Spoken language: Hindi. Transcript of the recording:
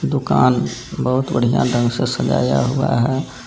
दुकान बहुत बढ़िया ढंग से सजाया हुआ है।